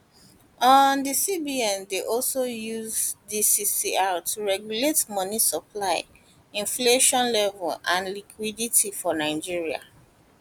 di cbn dey also use dis crr to regulate money supply inflation level and liquidity for nigeria